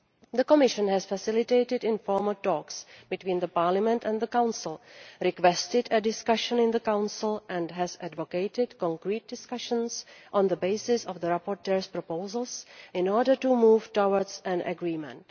The Commission has facilitated informal talks between Parliament and the Council, requested a discussion in the Council and has advocated concrete discussions on the basis of the rapporteur's proposals in order to move towards an agreement.